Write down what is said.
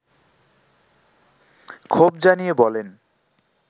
ক্ষোভ জানিয়ে বলেন